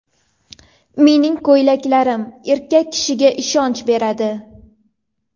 Mening ko‘ylaklarim erkak kishiga ishonch beradi.